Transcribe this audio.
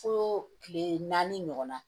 Fo kile naani ɲɔgɔn na